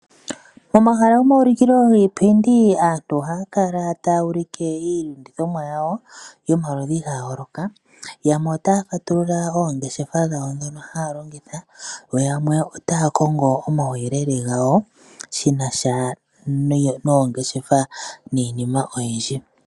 Momahala gomaulikilo giipindi aantu ohaya kala taya ulike iilandithomwa yawo yomaludhi gayooloka, yamwe otaya fatulula oongeshefa dhawo dhono haya longitha, yo yamwe otaya kongo omuyelele gawo shinasha noongeshefa niinima oyindji.